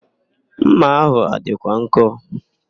Ḿmà ahụ a dịkwa nkọ?